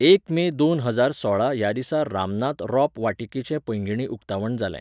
एक मे दोन हजार सोळा ह्या दिसा रामनाथ रोप वाटिकेचे पैंगीणी उक्तावण जालें